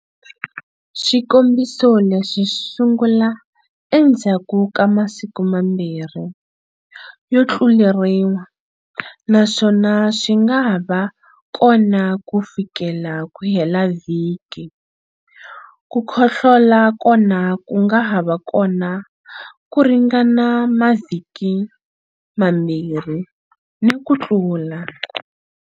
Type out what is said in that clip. Swikombiso leswi swi sungula endzhaku ka masiku mambirhi yo tluleriwa naswona swi nga ha va kona kufikela ku hela vhiki. Ku khohlola kona ku nga ha va kona ku ringana mavhiki mambirhi ni ku tlula.